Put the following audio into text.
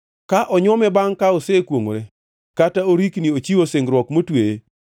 “Ka onywome bangʼ ka osekwongʼore kata orikni ochiwo singruok motweye